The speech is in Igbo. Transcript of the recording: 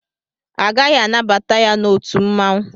Agaghị anabata ya n'otu mmanwụ.